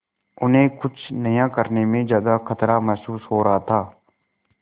उन्हें कुछ नया करने में ज्यादा खतरा महसूस हो रहा था